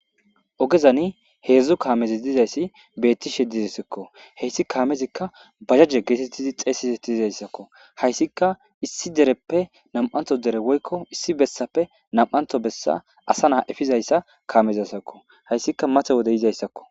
ogezani heedzdzu kaamezi dizayssi beetti she dizisikko heyssi kaamezikka bajajje geetettidi xeesiseti dizayssakko hayssika issi dereppe nam7anto dere woykko issi bessape nam7anto bessa asa naa efizayssa kaamezasakko hayssika mate wode yizayssakko